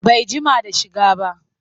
Bai jima da shiga ba